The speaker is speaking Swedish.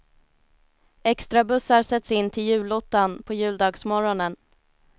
Extrabussar sätts in till julottan på juldagsmorgonen.